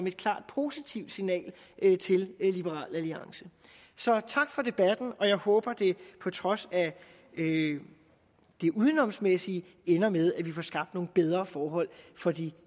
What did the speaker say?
et klart positivt signal til liberal alliance så tak for debatten og jeg håber at det på trods af det udenomsmæssige ender med at vi får skabt nogle bedre forhold for de